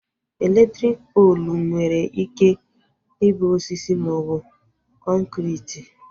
Elektriki poolu nwere ike ịbụ osisi maọbụ kọnkriti